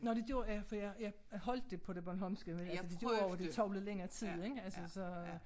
Nå det gjorde ja for jeg jeg holdt det på det bornholmske men altså det gjorde jo at det tog noget længere tid så